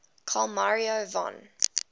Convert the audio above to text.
carl maria von